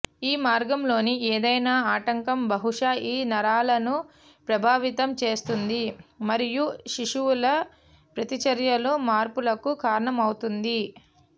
ఈ మార్గంలోని ఏదైనా ఆటంకం బహుశా ఈ నరాలను ప్రభావితం చేస్తుంది మరియు శిశువుల ప్రతిచర్యలో మార్పులకు కారణమవుతుంది